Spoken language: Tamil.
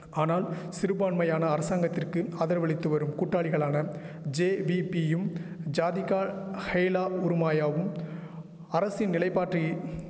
ஆனால் சிறுபான்மையான அரசாங்கத்திற்கு ஆதரவளித்துவரும் கூட்டாளிகளான ஜேவிபியும் ஜாதிகா ஹைலா உறுமாயாவும் அரசின் நிலைபாட்டை